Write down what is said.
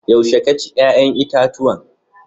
Yaushe ka ci yayan itatuwan?